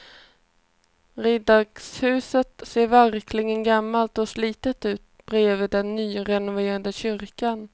Riksdagshuset ser verkligen gammalt och slitet ut bredvid den nyrenoverade kyrkan.